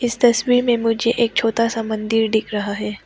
इस तस्वीर में मुझे एक छोटा सा मंदिर दिख रहा है।